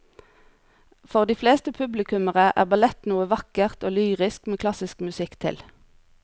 For de fleste publikummere er ballett noe vakkert og lyrisk med klassisk musikk til.